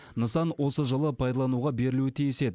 нысан осы жылы пайдалануға берілуі тиіс еді